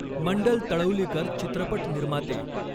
मंडल तळौलीकर, चित्रपट निर्माते